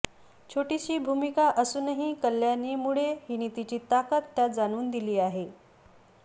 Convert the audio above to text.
छोटीशी भूमिका असूनही कल्याणी मुळे हिने तिची ताकद त्यात जाणवून दिली आहे